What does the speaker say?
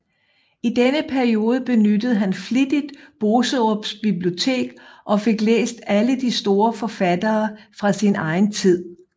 I denne periode benyttede han flittigt Boserups bibliotek og fik læst alle de store forfattere fra sin egen tid